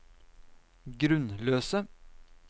grunnløse